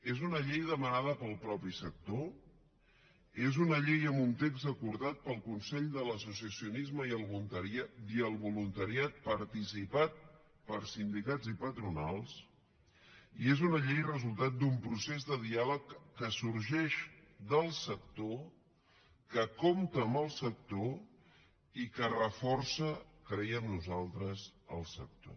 és una llei demanada pel mateix sector és una llei amb un text acordat pel consell de l’associacionisme i el voluntariat participat per sindicats i patronals i és una llei resultat d’un procés de diàleg que sorgeix del sector que compta amb el sector i que reforça creiem nosaltres el sector